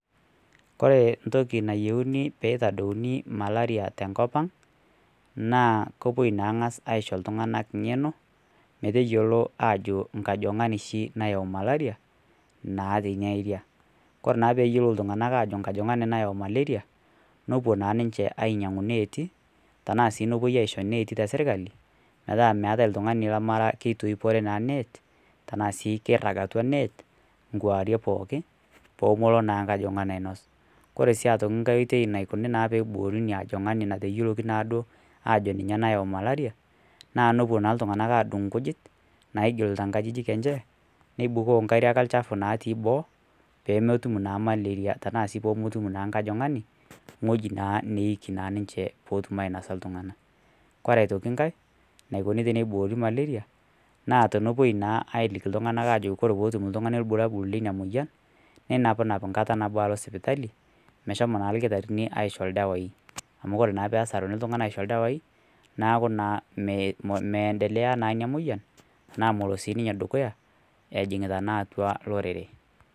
Kore entoki nayieuni pee eitadouni malaria tenkop ang naa kepuoi naa aang'as aisho iltung'anak ng'eno meteyiolo ajo enkojing'ani oshi nayau malaria kore naa peeyiu iltung'anak neibooyo malaria nepuo naa ninche ainyiang'u ineeti enaa nepuo asiho ineeti te sirkali metaai oltung'ani lemeitoipore naa neet ashuu keirag atua net kuarie pooki peemelo naa enkajing'ani ainos kake ore naa enaokoni peeiboori ina ojing'ani pemeitokini naaduo ajo ninye nayau malaria naa nepuo iltung'anak aadun ikujit naamanita inkajijik enye nibukoo inkariak olchafu natii boo tenaa peemetum naa nkajing'ni ng'ueji naa neeiki ninche peetum ainosa iltung'anak kore aitoki ngae naikoni teneiboori malaria naa tenepuoi naa aaliki iltung'anak ajo ore peetum oltung'ani irbulalabol leina moyian nenapinam enkata nabo alo sipitali meshomo naa irkitarini aisho ildawai amu kore naa peesaruni iltung'anak aaisho ildawai neeku naa meendelea naa ina moyian ejing'ita naa atua lorere.